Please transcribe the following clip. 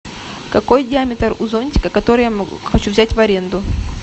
какой диаметр у зонтика который я хочу взять в аренду